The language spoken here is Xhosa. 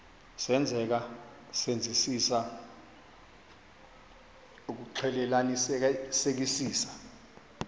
senzeka senzisisa ukuxclelanisekisisa